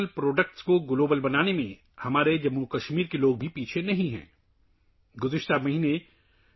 دوستو، ہمارے جموں و کشمیر کے لوگ بھی مقامی مصنوعات کو عالمی بنانے میں پیچھے نہیں ہیں